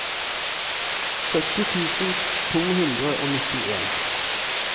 sytti tusen to hundre og nittien